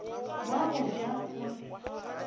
wa go ja o re